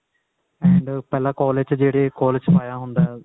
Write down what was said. and ਪਹਿਲਾਂ collage ਚ ਜਿਹੜੇ collage ਵਿੱਚ ਪਾਇਆ ਹੁੰਦਾ